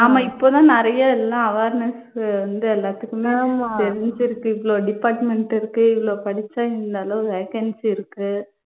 ஆமா இப்போ தான் நிறைய எல்லாம் awareness உ வந்து எல்லாத்துக்குமே தெரிஞ்சிருக்கு இவ்ளோ department இருக்கு. இவ்ளோ படிச்சா இந்த அளவு vacancy இருக்கு.